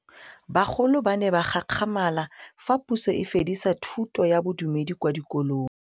Bagolo ba ne ba gakgamala fa Pusô e fedisa thutô ya Bodumedi kwa dikolong.